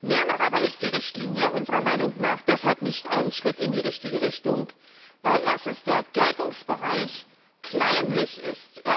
Mehr noch aber ist die Richtlinie unserer Meinung nach deshalb kein Schritt in die richtige Richtung, weil erstens der Geltungsbereich kleinlich ist.